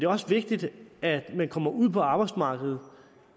også vigtigt at man kommer ud på arbejdsmarkedet